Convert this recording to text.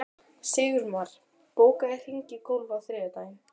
Sigurmar, bókaðu hring í golf á þriðjudaginn.